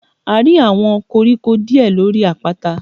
A rí àwọn koríko díè lórí àpáta.